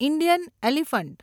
Indian elephant